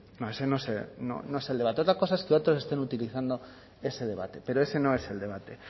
no ese no es el debate otra cosa es que otros estén utilizando ese debate pero ese no es el debate